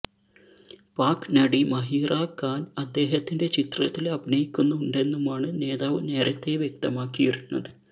പാക് നടി മഹീറാ ഖാന് അദ്ദേഹത്തിന്റെ ചിത്രത്തില് അഭിനയിക്കുന്നുണ്ടെന്നുമാണ് നേതാവ് നേരത്തേ വ്യക്തമാക്കിയിരുന്നത്